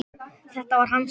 Þetta var hans hefð.